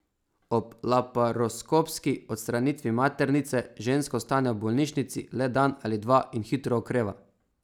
Ob laparoskopski odstranitvi maternice ženska ostane v bolnišnici le dan ali dva in hitro okreva.